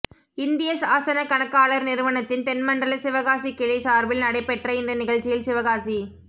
இந்திய சாசனக் கணக்காளா் நிறுவனத்தின் தென்மண்டல சிவகாசிக் கிளை சாா்பில் நடைபெற்ற இந்த நிகழ்ச்சியில் சிவகாசி